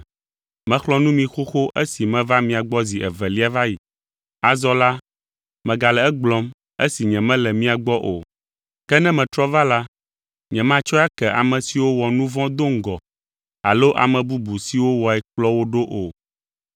Mexlɔ̃ nu mi xoxo esi meva mia gbɔ zi evelia va yi. Azɔ la, megale egblɔm, esi nyemele mia gbɔ o. Ke ne metrɔ va la, nyematsɔe ake ame siwo wɔ nu vɔ̃ do ŋgɔ alo ame bubu siwo wɔe kplɔ wo ɖo o,